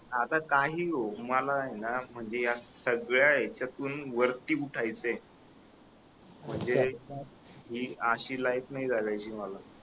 आता काही होऊ मलाय ना म्हणजे या सगळ्या ह्याच्यातून वरती उठायचय म्हणजे ही अशी लाइफ नाही जगायची मला